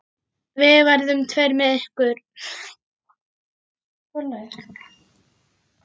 Við verðum tveir með ykkur.